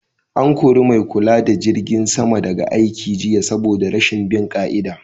An kori mai kula da jirgin sama daga aiki jiya saboda rashin bin ƙa'ida